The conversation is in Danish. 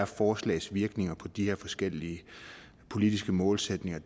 forslags virkninger er på de her forskellige politiske målsætninger